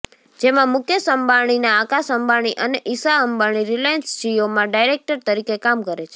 જેમાં મુકેશ અંબાણીના આકાશ અંબાણી અને ઈશા અંબાણી રિલાયન્સ જિઓમાં ડાયરેક્ટર તરીકે કામ કરે છે